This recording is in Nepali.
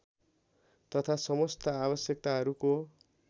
तथा समस्त आवश्यकताहरूको